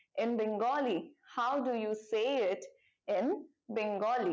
in bengali how do say it in bengali